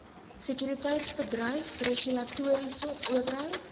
sekuriteitsbedryf regulatoriese owerheid